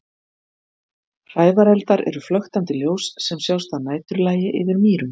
Hrævareldar eru flöktandi ljós sem sjást að næturlagi yfir mýrum.